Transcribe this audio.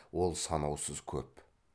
ол санаусыз көп